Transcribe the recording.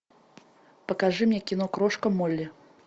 покажи мне кино крошка молли